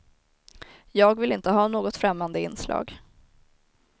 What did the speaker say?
Jag vill inte ha något främmande inslag.